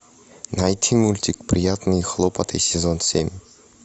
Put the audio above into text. найти мультик приятные хлопоты сезон семь